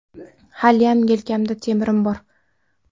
Haliyam yelkamda temirim bor.